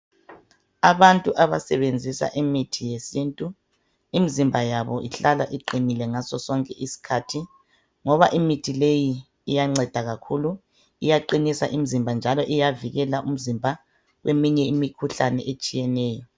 Abantu abasebenzisa imithi yesintu, imzimba yabo ihlala iqinile ngaso sonke isikhathi ngoba imithi leyi iyanceda kakhulu, iyaqinisa imzimba njalo iyavikeleka umzimba kweminye imikhuhlane etshiyeneyo.